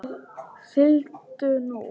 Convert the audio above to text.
Sigldu nú.